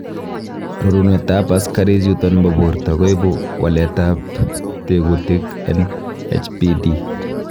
Rorunetab asikarikchuton bo borto koibu waletab tekutik en HPD.